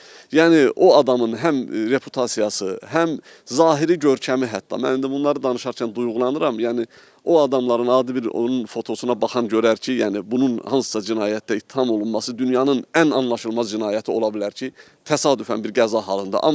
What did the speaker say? Yəni o adamın həm reputasiyası, həm zahiri görkəmi hətta mən indi bunları danışarkən duyğulanıram, yəni o adamların adi bir onun fotosuna baxan görər ki, yəni bunun hansısa cinayətdə ittiham olunması dünyanın ən anlaşılmaz cinayəti ola bilər ki, təsadüfən bir qəza halında.